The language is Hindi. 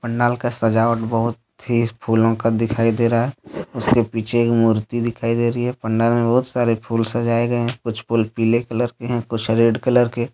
पंडाल का सजावट बहुत तेज फूलों का दिखाई दे रहा है उसके पीछे एक मूर्ति दिखाई दे रही है पंडाल मे बहुत सारे फूल सजाए गए हैं कुछ फ़ुल पीले कलर रेड कलर के।